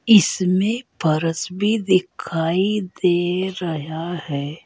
इसमें फरस भी दिखाई दे रहा है।